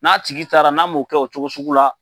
N'a tigi taara n'a m'o kɛ o cogo sugu la.